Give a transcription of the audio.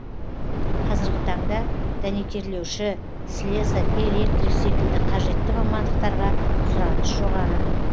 қазіргі таңда дәнекерлеуші слесар электрик секілді қажетті мамандықтарға сұраныс жоғары